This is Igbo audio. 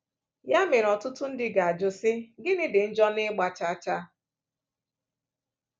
Ya mere, ọtụtụ ndị ga-ajụ, sị, ‘Gịnị dị njọ n’ịgba chaa chaa?